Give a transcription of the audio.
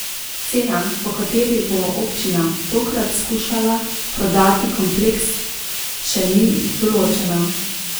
Cena, po kateri bo občina tokrat skušala prodati kompleks, še ni določena.